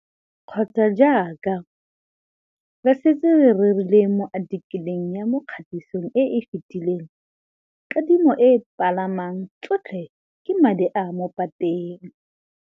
Kgotsa, jaaka re setse re rile mo athikeleng ya mo kgatisong e e fetileng kadimo e e phalang tsotlhe ke madi a a mo pateng.